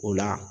O la